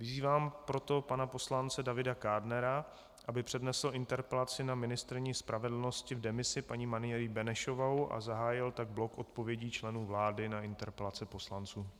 Vyzývám proto pana poslance Davida Kádnera, aby přednesl interpelaci na ministryni spravedlnosti v demisi, paní Marii Benešovou, a zahájil tak blok odpovědí členů vlády na interpelace poslanců.